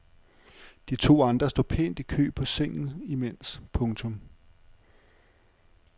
De to andre står pænt i kø på sengen imens. punktum